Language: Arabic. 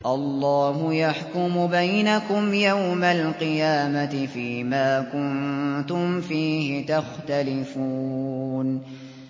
اللَّهُ يَحْكُمُ بَيْنَكُمْ يَوْمَ الْقِيَامَةِ فِيمَا كُنتُمْ فِيهِ تَخْتَلِفُونَ